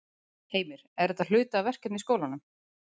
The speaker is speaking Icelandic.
Heimir: Er þetta hluti af verkefni í skólanum?